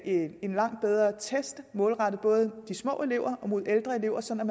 en langt bedre test målrettet både de små elever og de ældre elever så man